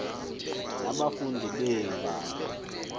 na abafundi beendata